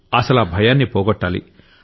అసలా భయాన్ని పోగొట్టాలి